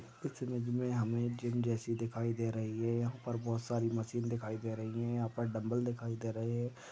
इस इमेज मे हमे एक जिम जैसी दिखाई दे रही है। यहा पर बहुत सारी मशीन दिखाई दे रही है। यहा पर ड़मबल दिखाई दे रहे है।